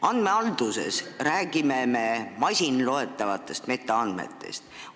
Andmehalduses räägime me masinloetavatest metaandmetest.